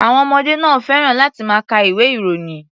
Àwọn ọmọdé náà ò fẹ́ràn láti máa ka ìwé-ìròyìn.